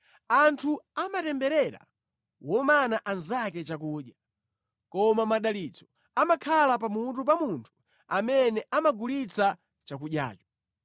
Anthu amatemberera womana anzake chakudya, koma madalitso amakhala pamutu pa munthu amene amagulitsa chakudyacho.